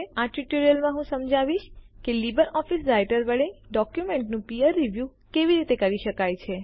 આ ટ્યુટોરીયલમાં હું સમજાવીશ કે લીબર ઓફીસ રાઈટર વડે ડોક્યુમેન્ટોનું પીયર રીવ્યૂ બારીક સમીક્ષા કેવી રીતે કરી શકાય છે